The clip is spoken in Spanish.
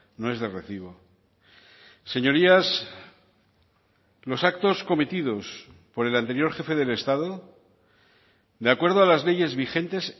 no es de recibo señorías los actos cometidos por el anterior jefe del estado de acuerdo a las leyes vigentes